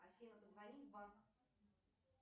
афина позвони в банк